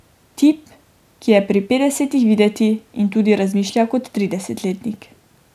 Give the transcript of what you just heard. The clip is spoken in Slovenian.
Tip, ki je pri petdesetih videti in tudi razmišlja kot tridesetletnik.